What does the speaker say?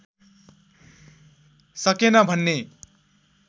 सकेन भन्ने